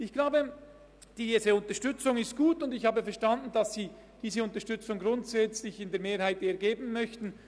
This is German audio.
Ich glaube, diese Unterstützung ist gut, und ich habe verstanden, dass Sie diese Unterstützung grundsätzlich mehrheitlich geben möchten.